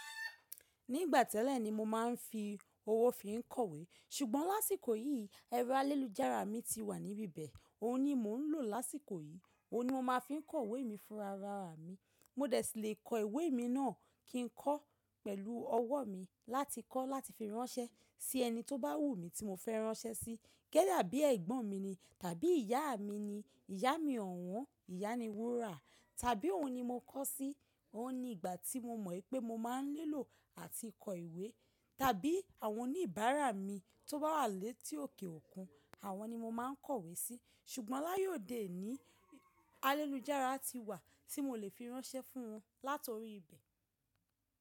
Ní ìgbà tẹ́lẹ̀ ni mo máa ń fi owó fi ń kọ̀wé, ṣùgbọ́n lásìkò yìí ẹrọ ayélujára mi ti wà níbí ibẹ̀, òun ni mò ń lò lásìkò yìí, òun ni mo máa fi ń kọ ìwé mi fúnrarara mi. Mo dẹ̀ tí lè kọ ìwé mi náà kí n kọ́ pẹ̀lú ọwọ́ mi láti kọ́ láti fi ránṣẹ́ sí ẹni tó bá wù mí tí mo fẹ́ ránṣẹ́ sí. Kẹ́ẹ́yà bí ẹ̀gbọ́n mi ni, tàbí ìyá mi ni, ìyá mi ọ̀wọ́n, ìyá ni wúrà, tàbí òun ni mo kọ́ sí, òun ni ìgbà tí mo mọ̀ pé mo máa ń nilò àti kọ ìwé, tàbí àwọn oníbàárà mi tó bá wà létí òkè òkun, àwọn ni mo máa ń kọ̀wé sí, ṣùgbọ́n laye ode oni ayélujára ti wà tí mo lè fi ránṣẹ́ fún wọn látori ibẹ̀.